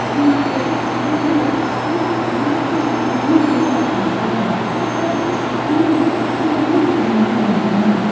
यहां बहुत सारे लोग इन सामानों को खरीदने के लिए आते हैं और इस दुकान में बहुत ही भीड़ लगी हुई रहती है।